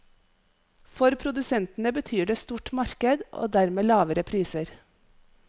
For produsentene betyr det stort marked og dermed lavere priser.